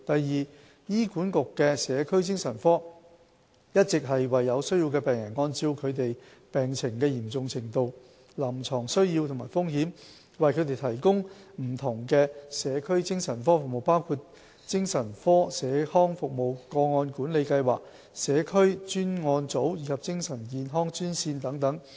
二醫管局的社區精神科，一直為有需要的病人，按照他們病情的嚴重程度、臨床需要和風險，為他們提供不同的社區精神科服務，包括精神科社康服務、個案管理計劃、社區專案組及精神健康專線等。